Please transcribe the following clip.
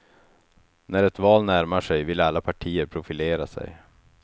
När ett val närmar sig vill alla partier profilera sig.